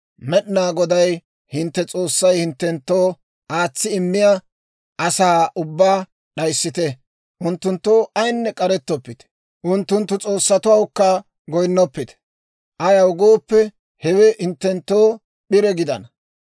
Med'inaa Goday hintte S'oossay hinttenttoo aatsi immiyaa asaa ubbaa d'ayissite; unttunttoo ayinne k'arettoppite. Unttunttu s'oossatuwawukka goyinnoppite. Ayaw gooppe, hewe hinttenttoo p'ire gidana.